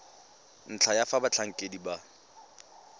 ntlha ya fa batlhankedi ba